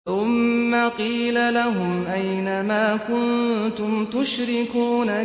ثُمَّ قِيلَ لَهُمْ أَيْنَ مَا كُنتُمْ تُشْرِكُونَ